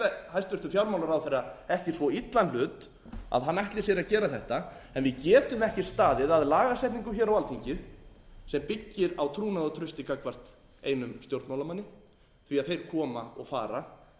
hæstvirtur fjármálaráðherra ekki svo illan hlut að hann ætli sér að gera þetta en við getum ekki staðið að lagasetningu hér á alþingi sem byggir á trúnaðartrausti gagnvart einum stjórnmálamanna því að þeir koma og fara